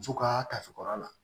Muso ka tafe kɔrɔ la